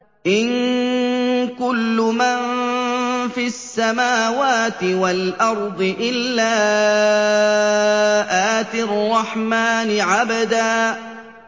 إِن كُلُّ مَن فِي السَّمَاوَاتِ وَالْأَرْضِ إِلَّا آتِي الرَّحْمَٰنِ عَبْدًا